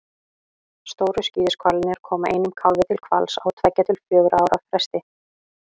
stóru skíðishvalirnir koma einum kálfi til hvals á tveggja til fjögurra ára fresti